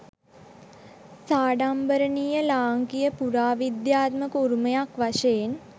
සාඩම්බරණීය ලාංකීය පුරාවිද්‍යාත්මක උරුමයක් වශයෙන්